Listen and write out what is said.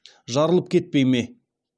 жарылып кетпей ме